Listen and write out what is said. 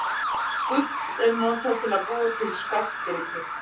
Gull er notað til að búa til skartgripi.